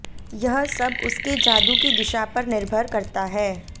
यह सब उसके जादू की दिशा पर निर्भर करता है